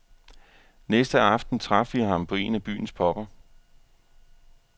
Næste aften traf vi ham på en af byens pubber.